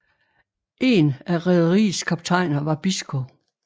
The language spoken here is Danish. En af rederiets kaptajner var Biscoe